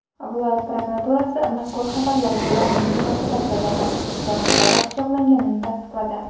Viloyat prokuraturasi mazkur xabarlarga rasmiy munosabat bildirdi va fuqaro pichoqlanganini tasdiqladi.